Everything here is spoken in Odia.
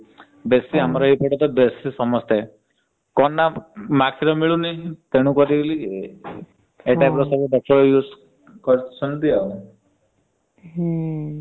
ହମ୍